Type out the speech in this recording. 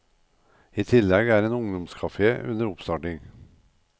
I tillegg er en ungdomscafé under oppstarting.